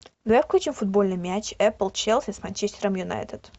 давай включим футбольный матч апл челси с манчестером юнайтед